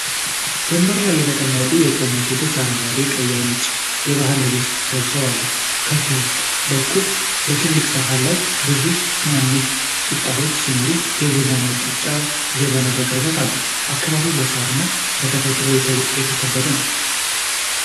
ወንበር ላይ የተቀመጡና የቆሙ ሴቶች በአረንጓዴ፣ ቀይና ነጭ የባህል ልብስ ለብሰው አሉ። ከፊት በኩል በትልቅ ሰሃን ላይ ብዙ ትናንሽ ቂጣዎች ሲኖሩ፣ የቡና መጠጫ ጀበና በቅርበት አሉ። አካባቢው በሳርና በተፈጥሮ የተከበበ ነው።